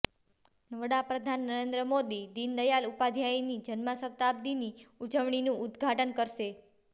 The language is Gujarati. વડા પ્રધાન નરેન્દ્ર મોદી દીનદયાલ ઉપાધ્યાયની જન્મશતાબ્દીની ઉજવણીનું ઉદ્ઘાટન કરશે